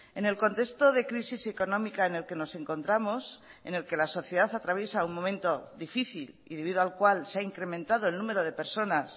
en el contexto de crisis económica en el que nos encontramos en el que la sociedad atraviesa un momento difícil y debido al cual se ha incrementado el número de personas